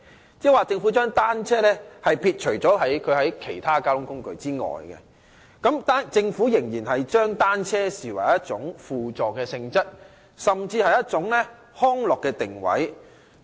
換言之，政府把單車撇除在其他公共交通工具之外，仍然把單車視為一種輔助性質的工具，甚至是康樂的定位。